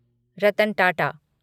Ratan Tata